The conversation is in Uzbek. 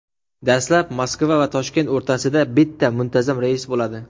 Dastlab Moskva va Toshkent o‘rtasida bitta muntazam reys bo‘ladi.